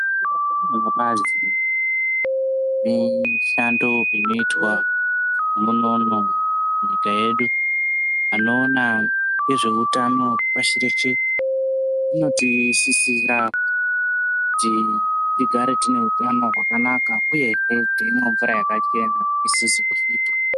Vebazi nemishando inoitwa unono munyika yedu. Vanokona ngezveutano pashi reshe vanotisisire kuti tigare tine neutano hwakanaka uyezve teimwe mvura yakachena isizi kusvipa.